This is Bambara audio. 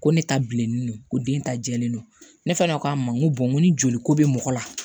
Ko ne ta bilen ko den ta jɛlen don ne fana ko a ma n ko ni joli ko bɛ mɔgɔ la